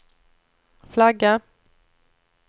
flagga